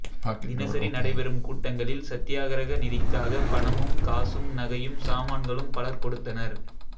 தினசரி நடைபெறும் கூட்டங்களில் சத்தியாக்கிரக நிதிக்காக பணமும் காசும் நகையும் சாமான்களும் பலர் கொடுத்தனர்